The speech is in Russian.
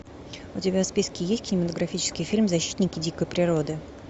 у тебя в списке есть кинематографический фильм защитники дикой природы